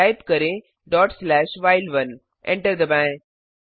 type करें dot slash while one enter दबाएं